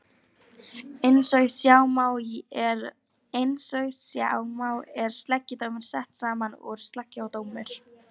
Eins og sjá má er sleggjudómur sett saman úr sleggja og dómur.